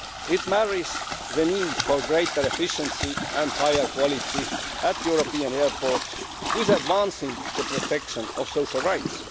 It marries the need for greater efficiency and higher quality at European airports with advancing the protection of social rights.